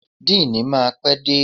Deanii máa pé dé.